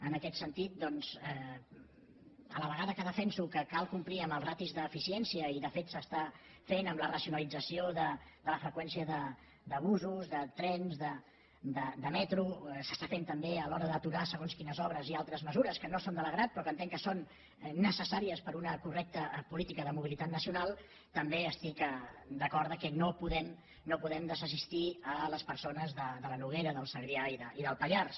en aquest sentit doncs a la vegada que defenso que cal complir amb les ràtios d’eficiència i de fet s’està fent amb la racionalització de la freqüència de busos de trens de metro s’està fent també a l’hora d’aturar segons quines obres i altres mesures que no agraden però que entenc que són necessàries per a una correcta política de mobilitat nacional també estic d’acord que no podem desassistir les persones de la noguera del segrià i del pallars